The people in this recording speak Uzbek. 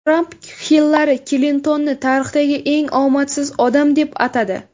Tramp Hillari Klintonni tarixdagi eng omadsiz odam deb atadi.